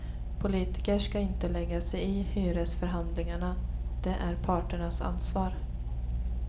Politiker ska inte lägga sig i hyresförhandlingarna, det är parternas ansvar.